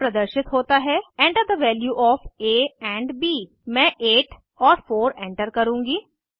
यहाँ प्रदर्शित होता है Enter the value of a and b मैं 8 और 4 एंटर करुँगी